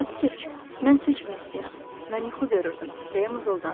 Atkiç, mən su içmək istəyirəm, mən yuxu görürdüm deyə mızıldandı.